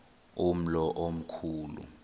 umlo omkhu lu